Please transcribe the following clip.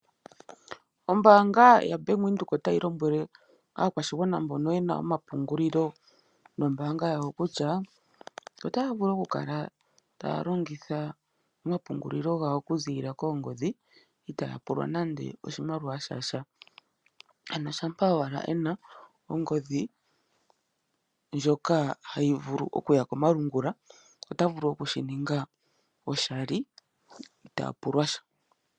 Ombaanga yaBank Windhoek otayi lombwele aakwashigwana mboka ye na omapungulilo nombaanga yawo kutya otaya vulu okukala taya longitha omapungulilo gawo okuziilila koongodhi itaaya pulwa nando oshimaliwa sha sha. Shampa owala e na ongodhi ndjoka hayi vulu okuya komalungula, ota vulu okushi ninga oshali, ano itaa pulwa sha.